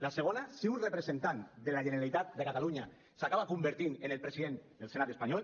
la segona si un representant de la generalitat de catalunya s’acaba convertint en el president del senat espanyol